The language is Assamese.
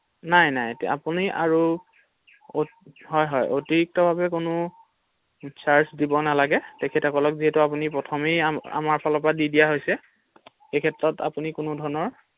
নাই নাই আপুনি আৰু অতি হয় হয় অতিৰিক্ত ভাৱে কোনো চাৰ্জ দিব নালাগে তেখেতসকলক যিহেতু আপুনি প্ৰথমে আমাৰ ফালৰ পৰা দি দিয়া হৈছে ৷সেইক্ষেএত আপুনি কোনো ধৰণৰ ৷